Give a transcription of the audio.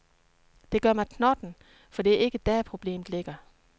Det gør mig knotten, for det er ikke der, problemet ligger.